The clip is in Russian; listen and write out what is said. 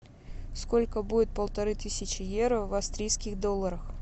сколько будет полторы тысячи евро в австрийских долларах